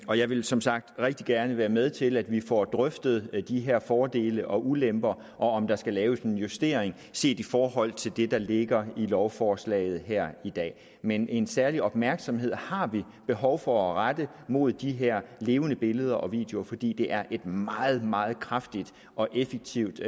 og jeg vil som sagt rigtig gerne være med til at vi får drøftet de her fordele og ulemper og om der skal laves en justering set i forhold til det der ligger i lovforslaget her i dag men en særlig opmærksomhed har vi behov for at rette mod de her levende billeder og videoer fordi det er et meget meget kraftigt og effektivt